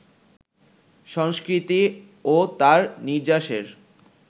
সংস্কৃতি ও তার নির্যাসের